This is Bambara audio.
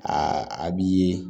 a b'i ye